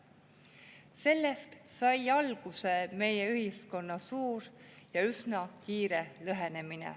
Sellest sai alguse meie ühiskonna suur ja üsna kiire lõhenemine.